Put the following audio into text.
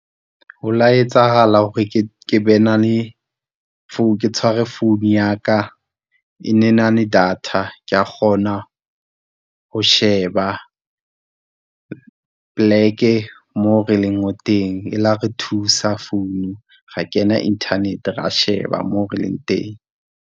Ho la etsahala hore ke be na le ke tshwara phone ya ka e ne na le data, kea kgona ho sheba p'leke mo re leng teng, e la re thusa phone ra kena internet ra sheba mo re leng teng.